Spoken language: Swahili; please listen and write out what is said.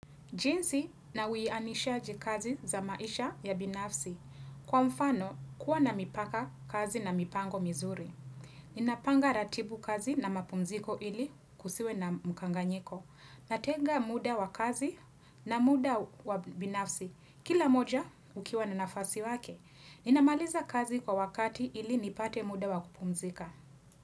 Jinsi na uianishaji kazi za maisha ya binafsi. Kwa mfano, kuwa na mipaka kazi na mipango mizuri. Ninapanga ratiba ya kazi na mapumziko ili kusiwe na mukanganyiko. Natenga muda wa kazi na muda wa binafsi. Kila moja, ukiwa na nafasi wake. Ninamaliza kazi kwa wakati ili nipate muda wa kupumzika.